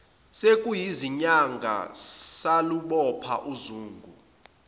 sekuyizinyanga salubopha uzungu